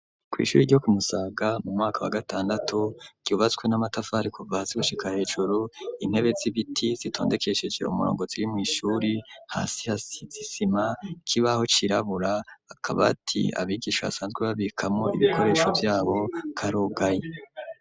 Kw'ishuri ryo kumusaga mu mwaka wa gatandatu ryubatswe n'amatafari kuva ha si gushikara hejuru intebe z'ibiti zitondekeshejera umurongozi y'mw'ishuri hasi hasi zisima kibaho cirabura akaba ati abigisha basanzwe babikamo ibikoresho vyabo karugayi.